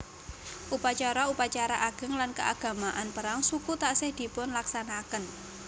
Upacara upacara ageng lan keagamaan perang suku taksih dipunlaksanakaken